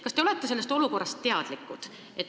Kas te olete sellest olukorrast teadlikud?